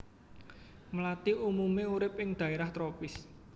Mlathi umumé urip ing dhaérah tropis